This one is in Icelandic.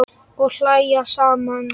Og hlæja saman.